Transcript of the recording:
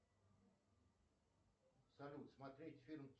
салют смотреть фильм